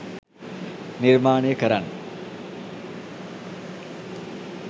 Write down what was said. නිර්මාණය කරන්න.